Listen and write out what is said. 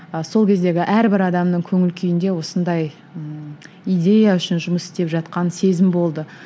сол кездегі әрбір адамның көңіл күйінде осындай ммм идея үшін жұмыс істеп жатқан сезім болды